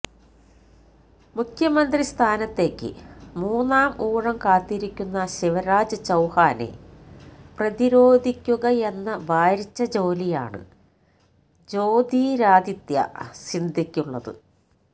മുഖ്യമന്ത്രി സ്ഥാനത്തേക്ക് മൂന്നാം ഊഴം കാത്തിരിക്കുന്ന ശിവരാജ് ചൌഹാനെ പ്രതിരോധിക്കുകയെന്ന ഭാരിച്ച ജോലിയാണ് ജ്യോതിരാദിത്യ സിന്ധ്യക്കുള്ളത്